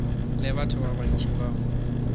le batho ba bantši bao